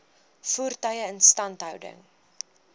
voertuie instandhouding